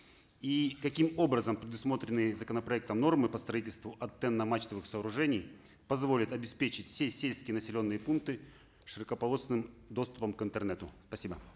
и каким образом предусмотрены законопроектом нормы по строительству антенно мачтовых сооружений позволят обеспечить все сельские населенные пункты широкополосным доступом к интернету спасибо